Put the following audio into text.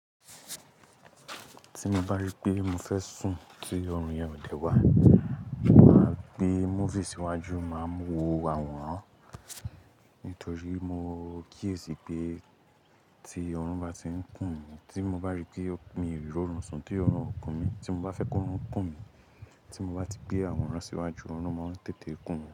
Tí mo bá rí pé mo fẹ́ sùn tí ọrùn yẹn ò dẹ́ wá, mo máa gbé movies síwájú, máa mu wo àwòrán nítorí mo kíyèsi pé tí ọrùn bá ti ń kùn mí, tí mo bá rí pé mi ò rí ró nù, sùn tí ọrùn kùn mí, tí mo bá fẹ́ kó orun kùn mí, tí mo bá ti gbé àwòrán síwájú, ọrùn máa ń tètè kùn mí.